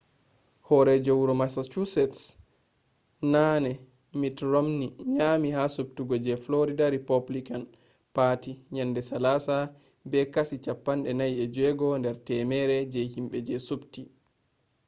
horeejo wuro massachusetts naane mitt romney nyami ha subtugo je florida rupublican parti yende salasa be kashi 46 der temere je himbe je subti